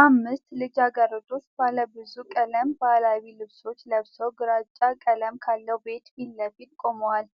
አምስት ልጃገረዶች ባለብዙ ቀለም ባህላዊ ልብሶች ለብሰው ግራጫ ቀለም ካለው ቤት ፊት ለፊት ቆመዋል።